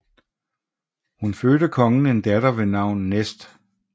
Hun fødte kongen en datter ved navn Nest